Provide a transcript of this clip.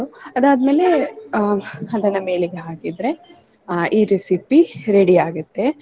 ಅದಾದ್ಮೇಲೆ ಅಹ್ ಅದನ್ನ ಮೇಲೆಗೆ ಹಾಕಿದ್ರೆ ಅಹ್ ಈ recipe ready ಆಗತ್ತೆ.